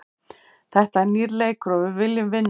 Þetta er nýr leikur og við viljum vinna.